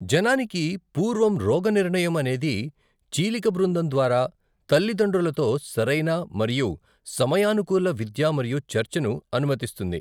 జననానికి పూర్వం రోగనిర్ణయం అనేది చీలిక బృందం ద్వారా తల్లిదండ్రులతో సరైన మరియు సమయానుకూల విద్య మరియు చర్చను అనుమతిస్తుంది.